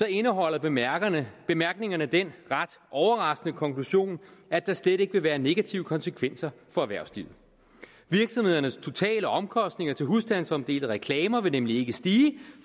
indeholder bemærkningerne bemærkningerne den ret overraskende konklusion at der slet ikke vil være negative konsekvenser for erhvervslivet virksomhedernes totale omkostninger til husstandsomdelte reklamer vil nemlig ikke stige